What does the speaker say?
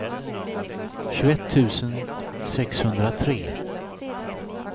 tjugoett tusen sexhundratre